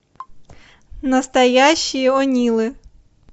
настоящие о нилы